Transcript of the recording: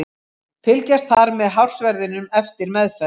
Fylgjast þarf með hársverðinum eftir meðferð.